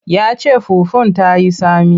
Ya ce fufun ta yi tsami.